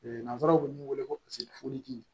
nanzaraw bɛ min wele ko